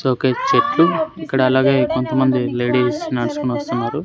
Showcase చెట్లు ఇక్కడ అలాగే కొంతమంది లేడీస్ నడుచుకొని వస్తున్నారు.